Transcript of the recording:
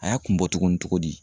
A y'a kun bɔ tuguni togo di?